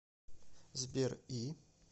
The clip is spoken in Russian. сбер и